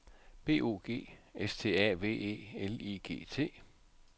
B O G S T A V E L I G T